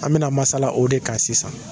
An bɛna masala o de kan sisan.